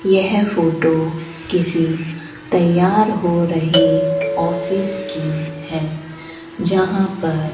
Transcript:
यह फोटो किसी तैयार हो रही ऑफिस की है जहां पर --